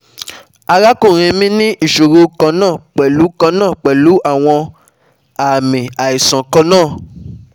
Arakunrin mi ni iṣoro kanna pẹlu kanna pẹlu awọn aami aisan kanna